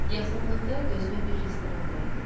Yaxınlıqda gözümə bir restoran dəydi.